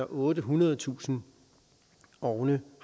ottehundredetusind ovne